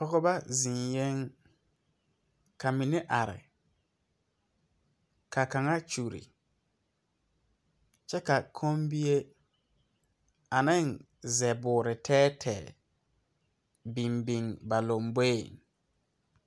Pɔgba zengɛɛ kamine arẽ kanga kyuli kye ka kɔnbie ane zebɔree teɛ teɛ bin bin ba lɔmboɛ.